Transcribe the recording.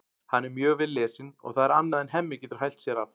Hann er mjög vel lesinn og það er annað en Hemmi getur hælt sér af.